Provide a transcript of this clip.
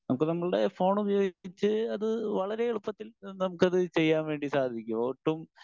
Speaker 1 നമുക്ക് നമ്മളുടെ phone ഉപയോഗിച്ച് അത് വളരെ എളുപ്പത്തിൽ നമുക്കത് ചെയ്യാൻ വേണ്ടി സാധിക്കും. ഒട്ടും